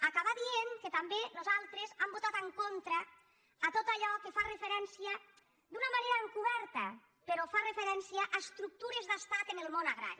acabar dient que també nosaltres hem votat en contra de tot allò que fa referència d’una manera encober·ta però hi fa referència a estructures d’estat en el món agrari